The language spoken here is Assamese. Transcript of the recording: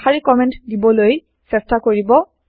এশাৰি কমেন্ট দিবলৈ চেষ্টা কৰিব